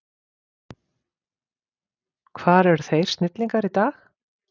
Hvar eru þeir snillingar í dag?